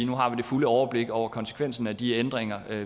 nu har vi det fulde overblik over konsekvensen af de ændringer